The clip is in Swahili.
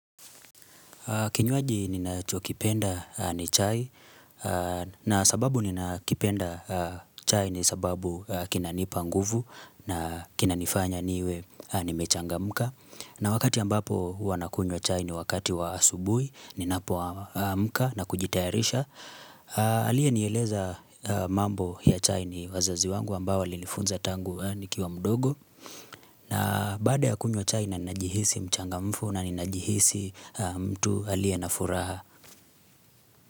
Kinywaji ninachokipenda ni chai na sababu ninakipenda chai ni sababu kinanipa nguvu na kinanifanya niwe nimechangamka na wakati ambapo huwa nakunywa chai ni wakati wa asubuhi ninapoamka na kujitayarisha Alienieleza mambo ya chai ni wazazi wangu ambao walinifunza tangu nikiwa mdogo na baada ya kunywa chai na ninajihisi mchangamfu na ninajihisi mtu aliye na furaha.